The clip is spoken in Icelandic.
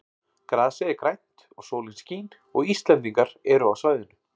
Grasið er grænt og sólin skín og Íslendingar eru á svæðinu.